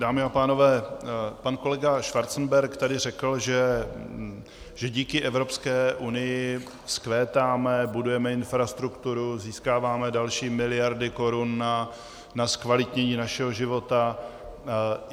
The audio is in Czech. Dámy a pánové, pan kolega Schwarzenberg tady řekl, že díky Evropské unii vzkvétáme, budujeme infrastrukturu, získáváme další miliardy korun na zkvalitnění našeho života.